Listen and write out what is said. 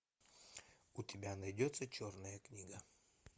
у тебя найдется черная книга